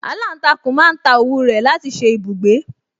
Aláǹtakùn máa ń ta òwú rẹ̀ láti ṣe ibùgbé